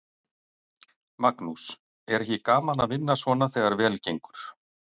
Magnús: Er ekki gaman að vinna svona þegar vel gengur?